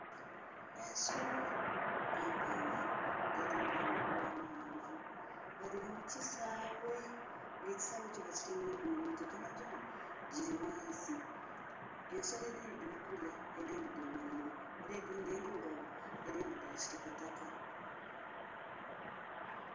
Ensolo empanvu edhiri n'amagulu amaghanvu nga dhiri mukisaghee nga ekisaghe ekyo bakitemyemu emiti gyonhagyona giri ghansi. Ensolo edhindhi dhirikulwa, edhindhi dhemeraire era dhindhi ndhirugavu edhindhi dhakitakataka.